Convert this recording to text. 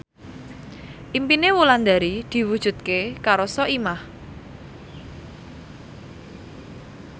impine Wulandari diwujudke karo Soimah